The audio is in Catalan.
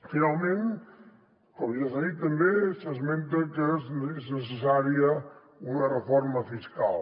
finalment com ja s’ha dit també s’esmenta que és necessària una reforma fiscal